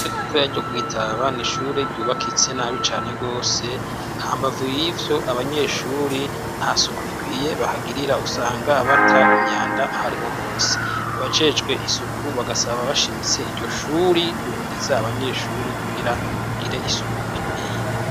Ritoya ryo kwi Taba n'ishuri ryubakitse nabi cane gose hambavu yivyo abanyeshuri nta suku rikwiye bahagirira usanga abata inyanda hariho hose. Abajejwe isuku bagasaba bashimitse iryoshuri guhimiriza abanyeshuri kugira bagire isuku rikwiye.